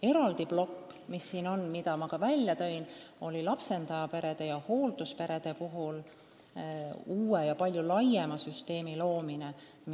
Eraldi plokk, millest ma juba rääkisin, on lapsendajaperede ja hooldusperede jaoks uue ja palju laiema süsteemi loomine.